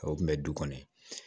O kun bɛ du kɔnɔ